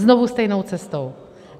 Znovu stejnou cestou.